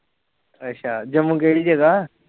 ਅੱਛਾ ਜੰਮੂ ਕਿਹੜੀ ਜਗ੍ਹਾ